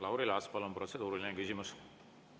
Lauri Laats, palun, protseduuriline küsimus!